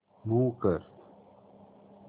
move कर